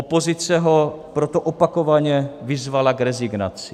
Opozice ho proto opakovaně vyzvala k rezignaci.